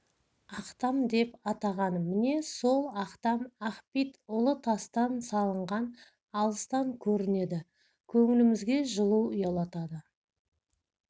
ақтам деп атаған міне сол ақтам ақбит ұлы тастан салынған алыстан көрінеді көңілімізге жылу ұялатады